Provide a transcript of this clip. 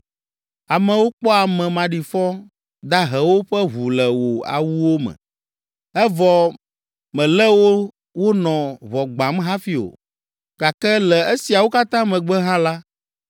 Amewo kpɔ ame maɖifɔ dahewo ƒe ʋu le wò awuwo me, evɔ mèlé wo wonɔ ʋɔ gbãm hafi o, gake le esiawo katã megbe hã la,